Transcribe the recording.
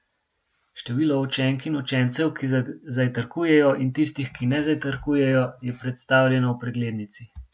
Število učenk in učencev, ki zajtrkujejo, in tistih, ki ne zajtrkujejo, je predstavljeno v preglednici.